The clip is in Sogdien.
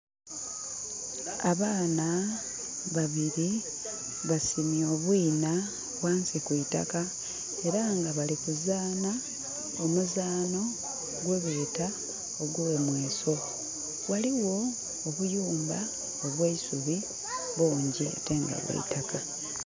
Abaana babiri basimye obwinha ghansi kwitaka era nga bali ku zanha omuzanho gwe beta ogwo mweso. Ghaligho obuyumba obweisubi bungi ate nga bwa itakka.